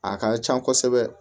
A ka can kosɛbɛ